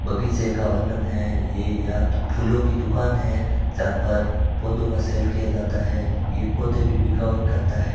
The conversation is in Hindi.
बगीचे का वर्णन है ये या तो फूलों की दुकान है जहां पर पौधों का सेल किया जाता है ये पौधे भी बिकावत करता है।